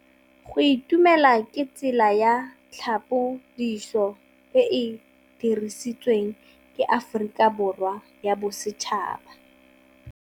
Go itumela ke tsela ya tlhapolisô e e dirisitsweng ke Aforika Borwa ya Bosetšhaba.